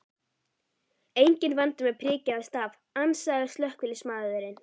Enginn vandi með priki eða staf, ansaði slökkviliðsmaðurinn.